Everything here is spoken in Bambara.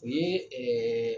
O ye ɛɛ